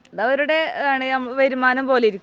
അത് അവരുടെ ആണ്, വരുമാനം പോലെ ഇരിക്കും